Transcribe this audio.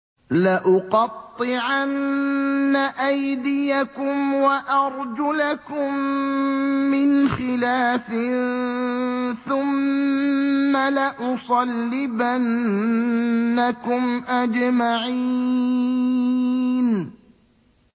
لَأُقَطِّعَنَّ أَيْدِيَكُمْ وَأَرْجُلَكُم مِّنْ خِلَافٍ ثُمَّ لَأُصَلِّبَنَّكُمْ أَجْمَعِينَ